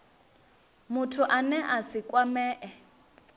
muthu ane a si kwamee